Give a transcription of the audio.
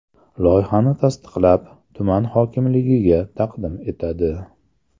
Loyihani tasdiqlab, tuman hokimligiga taqdim etadi.